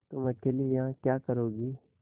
तुम अकेली यहाँ क्या करोगी